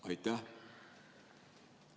Aitäh!